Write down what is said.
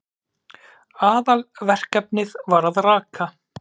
Aðalverkefnið var að rakka.